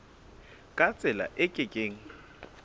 ka tsela e ke keng